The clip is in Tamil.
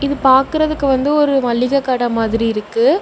இது பாக்குறதுக்கு வந்து ஒரு மளிக கட மாதிரி இருக்கு.